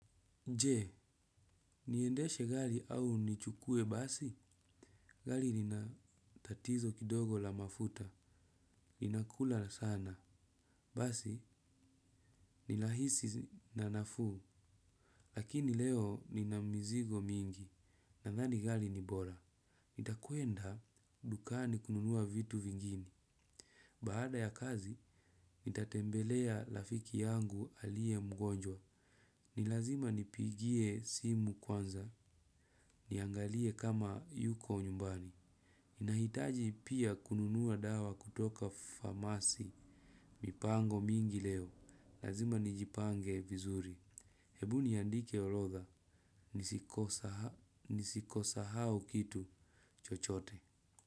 Je, niendeshe gari au nichukue basi, gari lina tatizo kidogo la mafuta, inakula sana, basi ni rahisi na nafuu, lakini leo nina mizigo mingi, nadhani gari ni bora. Nitakwenda dukani kununua vitu vingine baada ya kazi nitatembelea rafiki yangu alive mgonjwa. Ni lazima nipigie simu kwanza, niangalie kama yuko nyumbani. Nahitaji pia kununua dawa kutoka pharmacy mipango mingi leo. Lazima nijipange vizuri. Hebu niandike orodha, nisikosahau kitu chochote.